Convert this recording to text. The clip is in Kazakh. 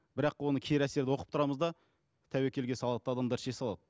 бірақ оны кері әсерді оқып тұрамыз да тәуекелге салады да адамдар іше салады